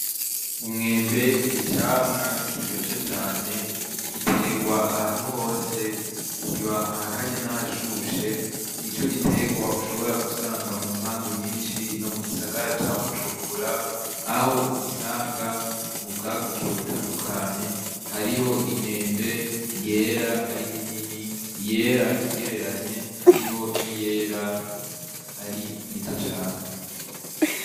Umwembe ni camwa kiryoshe cane giterwa ahantu hose kiba ahakanyene ahashushe ni co giterwa ushobora gusanga mu mpangu nyinshi no mu gisagara ca bujumvura aho ugisanga mu bwaguke butandukanye hariho imyembe ye era ari minini iyera igereranye hariho ni yera ari mito cane.